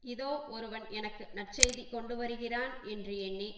இதோ ஒருவன் எனக்கு நற்செய்தி கொண்டு வருகிறவன் என்று எண்ணி